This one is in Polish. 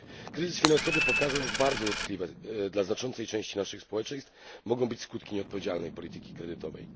Kryzys finansowy pokazał, jak bardzo dotkliwe dla znaczącej części naszych społeczeństw mogą być skutki nieodpowiedzialnej polityki kredytowej.